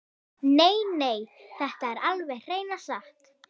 Nei, nei, þetta er alveg hreina satt!